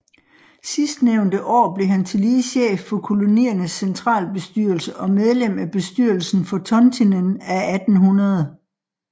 Sidstnævnte år blev han tillige chef for Koloniernes Centralbestyrelse og medlem af bestyrelsen for Tontinen af 1800